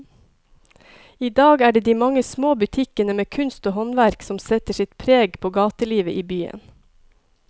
I dag er det de mange små butikkene med kunst og håndverk som setter sitt preg på gatelivet i byen.